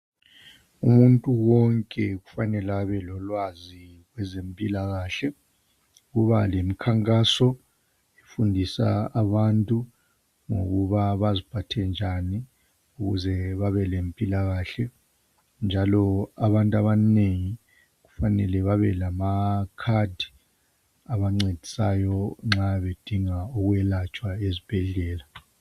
Umuntu wonke kufanele abelolwazi kwezempilakahle. Kuba lemikhankaso, kufundiswa abantu ngokuba baziphathe njani. Ukuze babe lempilakahle. Njalo abantu abanengi kufanele babe lamakhadi, abancedisayo, nxa bedinga ukwelatshwa ezibhedlela.